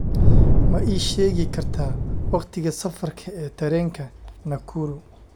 Ma ii sheegi kartaa wakhtiga safarka ee tareenka Nakuru